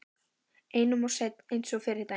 Einum of seinn eins og fyrri daginn!